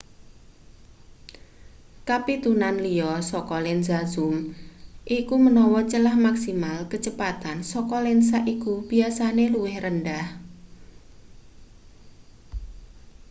kapitunan liya saka lensa zoom iku menawa celah maksimal kecepatan saka lensa iku biasane luwih rendah